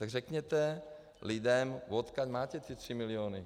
Tak řekněte lidem, odkud máte ty tři miliony.